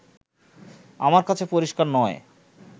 আমার কাছে পরিষ্কার নয়